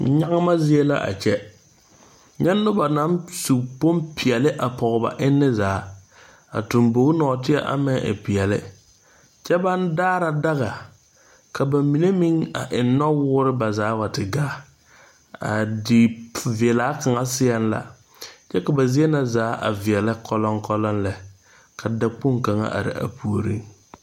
Nyagema zie la a kyɛ nyɛ noba naŋ su bompeɛle pɔge ba enne zaa a tuŋbogi nɔɔteɛ ama naŋ e peɛle kyɛ baŋ daara daga ka ba mine meŋ eŋ nɔwoore ba zaa a wa te gaa a diveɛla kaŋa seɛŋ la kyɛ ka ba zie na zaa a veɛlɛ koloŋkoloŋ lɛ ka dakpoŋ kaŋa are a puoriŋ.